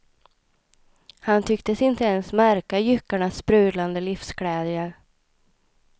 Han tycktes inte ens märka jyckarnas sprudlande livsglädje.